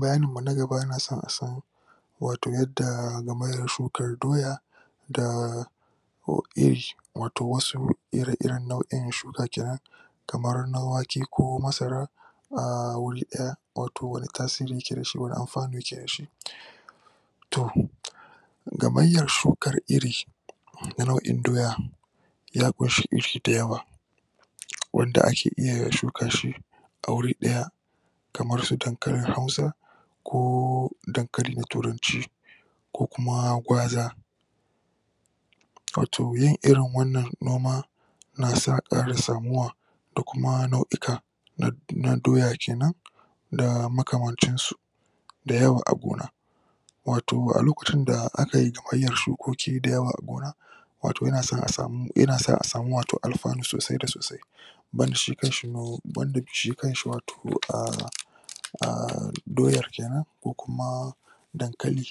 bayani mu na gaba yana so a san wato yadda game da shukar doya da ko iri wat wasu ira iran shuk kenan kamar na wke ko masara a wuri daya wato wani tasiri yake da shi wani anfani yake da shi to ga maryar shuar iri na nau`in doya ya? iri da yawa wand ake iya shuka shi a wuri daya kamar su dankalin hausa koo dnkali na turanci ko kuma gauza wqto yin irin wannan noma na sa karin samuwa da kuma nau`ika na na doya kenan da makaman ci su da yawa a gona wato a lokacin da aka yi? shukoki da yawa a gona wato yana sa a sami wato anfani da sosai da sosai banda shi kan shi no banda bi shi kanshi wato ahh ahh doyar kenan ko kuma dankali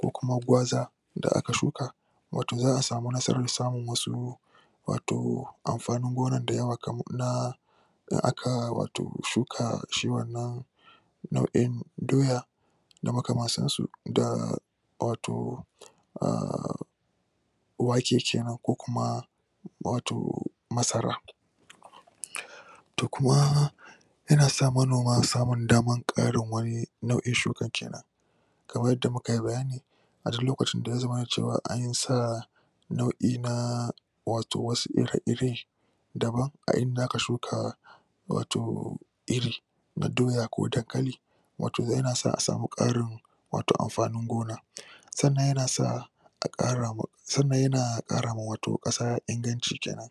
ko kuma gauza da aka shuka wato za a sami nasara samin wasu wato amfani gona da yawa kaman naah da aka wato shuka shi wannan nao`in doya da makamanta su da wato wake kenan ko kuma ko kuma masara da kuma yana sa manoma samin dama karin wani nao`in dhuka kenan kamar yadda mukayi bayani a duk lokacin da yazamana cewa ansa nao`i na wato wasu ire-ire dama inda aka shuka wato iri a doya ko dankali wato yana sa a sai karin wato anfani gona san nan yana sa a kara ma san na yana kara ma wato kasa inganci kenan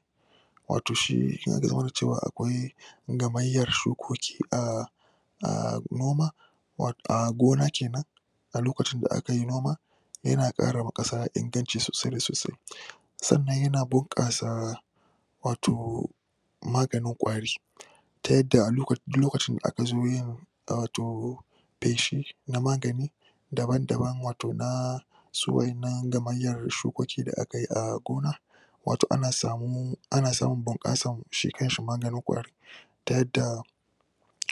wato shi ya? da cewa akwai0 gamaryar shukoki a noma wato.. a gona kenan a lokacin da aka yi noma yana kara ma kasa inganci sosai da sosai san nan yana bunkasa wato magani kwari ta yada a loka.. a duk lokacin da an zo yin ah to peshi na magani daban daban wato na su wadan nan gamayar shukoki da akayi a gona wato ana samuu.. ana samu bunkasar shi kanshi magani kwari da yadda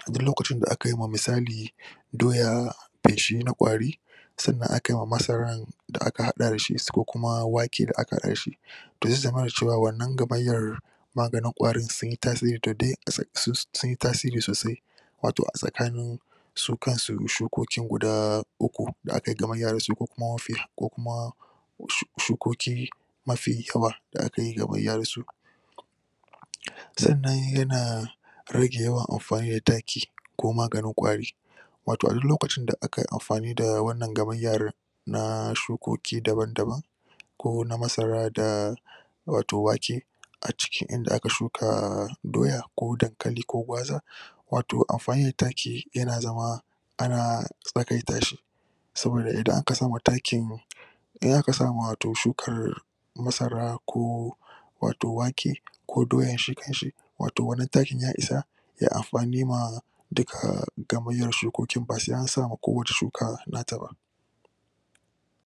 a duk lokacin da aka yi ma misali doya peshi na kwari san nan aka yi ma masarar da aka hada dashi s kokuma wake da aka hada da shi to ya zamana cewa wanna gamayar maga nin kwarin sun yi tasiri to don a san su sunyi tasiri sosai wao a tsakanin su kan su shukoki guda uku da aka yi gamanya da su kokuma mafi haka ko kuma shu. shokoki10 mafi yawa da aka yi gamanya da su san na yana yana rage yawan anfani da taki ko maga ni kwari wato a duk lokaci da aka yi anfani da wanna gamaryar na shukoki daban daban ko na masara da wato wake a cikin inda aka shuka doya, ko dankali ko gauza wato anfani d taki yana zama ana tsagaita shi saboda i dan aka sama takin idan aka sama wato shukar masara ko wato wake ko doya shi kanshi wato wannan taki ya isa ya anfani ma duka gamarya shukokin ba sai an sama ko wacce shuka nata ba